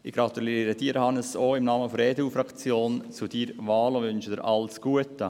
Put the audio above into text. Ich gratuliere Ihnen, Hannes Zaugg, im Namen der EDU-Fraktion zu Ihrer Wahl und wünsche Ihnen alles Gute.